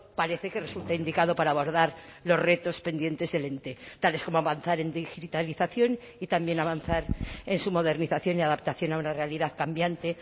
parece que resulta indicado para abordar los retos pendientes del ente tales como avanzar en digitalización y también avanzar en su modernización y adaptación a una realidad cambiante